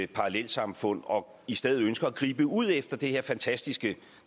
parallelsamfund og i stedet ønsker at gribe ud efter det her fantastiske